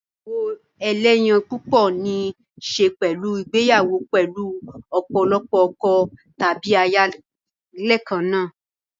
igbeyawo eleyan pupo ní í ṣe pẹ̀lú ìgbéyàwó pẹ̀lú ọ̀pọ̀lọpọ̀ ọkọ tàbí aya lẹ́ẹ̀kan náà.